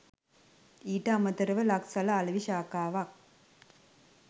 ඊට අමතරව ලක්සල අලෙවි ශාඛාවක්